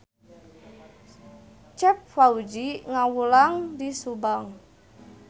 Cep Fauzi ngawulang di Subang